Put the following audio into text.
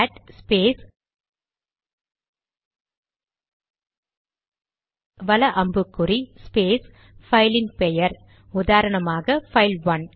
gate space வல அம்புக்குறி space பைலின் பெயர் உதாரணமாக பைல்1